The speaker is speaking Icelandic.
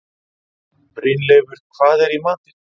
Brynleifur, hvað er í matinn?